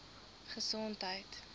gesondheid